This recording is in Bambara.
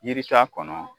Yiri t'a kɔnɔ